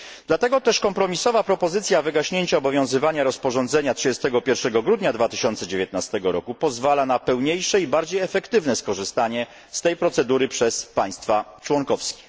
Dlatego też kompromisowa propozycja wygaśnięcia obowiązywania rozporządzenia 31 grudnia 2019 roku pozwala na pełniejsze i bardziej efektywne skorzystanie z tej procedury przez państwa członkowskie.